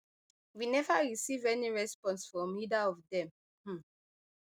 we neva receive any response from either of dem um